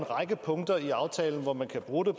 række punkter i aftalen hvor man kan bruge